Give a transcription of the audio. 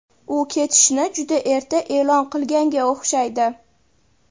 u ketishini juda erta e’lon qilganga o‘xshaydi.